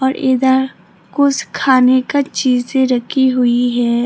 और इधर कुछ खाने का चीजें रखी हुई है।